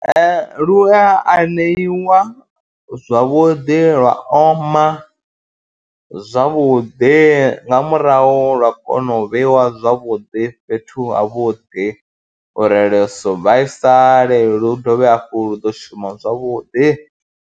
Ee, lu a aneiwa zwavhuḓi, lwa oma zwavhuḓi, nga murahu lwa kona u vheiwa zwavhuḓi fhethu havhuḓi uri lu si vhaisale lu dovhe hafhu lu ḓo shuma zwavhuḓi.